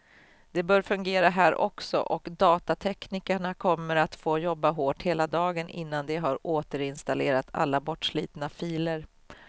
Det bör fungera här också, och datateknikerna kommer att få jobba hårt hela dagen innan de har återinstallerat alla bortslitna filer.